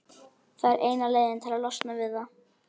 Það er eina leiðin til að losna við það.